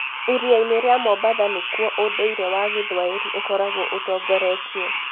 Iria-inĩ ria mombatha nĩkuo ũndũire wa gĩthwaĩri ũkoragwo ũtongoretie.